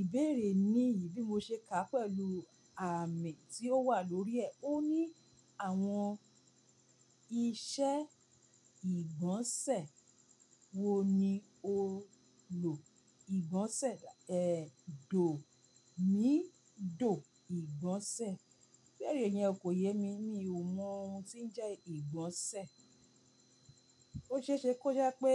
Ìbéèrè ní yìí bí mo ṣe kàá pẹ̀lú àmì tí ó wà lórí ẹ. Ó ní àwọn iṣẹ́ ìgbọ̀nsẹ̀ wo ni o lò? Ìgbọ̀nsẹ̀, dò mí, dò ìgbọ̀nsẹ̀. Ibeere yen kò yé mi, mi ò mọ ohun tí ń jẹ́ ìgbọ̀nsẹ̀. Ó ṣe é ṣe kó jẹ́ pé